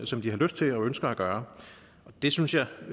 som de har lyst til og ønsker at gøre det synes jeg